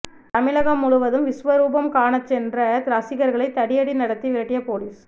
தமிழகம் முழுவதும் விஸ்வரூபம் காணச் சென்ற ரசிகர்களை தடியடி நடத்தி விரட்டிய போலீஸ்